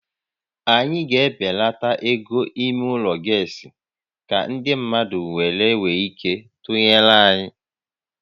Anyị ga-ebelata égo ímé ụlọ gasị ka ndị mmadụ wee nwee ike ịtụnyere anyị